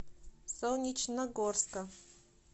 солнечногорска